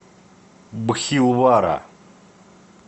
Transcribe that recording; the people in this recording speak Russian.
бхилвара